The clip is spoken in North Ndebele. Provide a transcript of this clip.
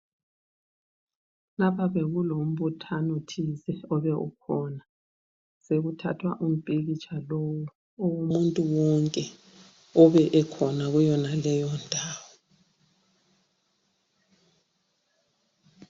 Lapha bekulombuthano thize obe ukhona. Sekuthathwa impikitsha womuntu wonke obekhona kuyonaleyo ndawo.